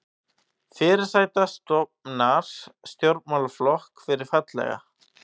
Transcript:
Fyrirsæta stofnar stjórnmálaflokk fyrir fallega